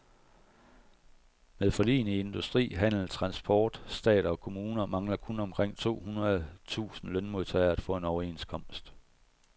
Med forligene i industri, handel, transport, stat og kommuner mangler kun omkring to hundrede tusind lønmodtagere at få en overenskomst.